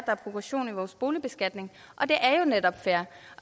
er progression i vores boligbeskatning det er jo netop fair